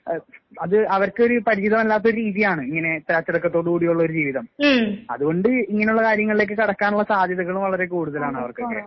എഹ് അത് അവർക്കൊരു പരിചിതമല്ലാത്ത ഒര് രീതിയാണ് ഇങ്ങനെ ഇത്ര അച്ചടക്കത്തോട് കൂടിയുള്ളൊരു ജീവിതം. അതുകൊണ്ട് ഇങ്ങനെയുള്ള കാര്യങ്ങളിലേക്ക് കടക്കാനുള്ള സാധ്യതകളും വളരെ കൂടുതലാണ് അവർക്കൊക്കെ.